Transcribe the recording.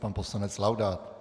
Pan poslanec Laudát.